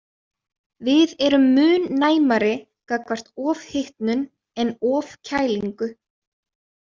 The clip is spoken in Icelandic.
Við erum mun næmari gagnvart ofhitnun en ofkælingu.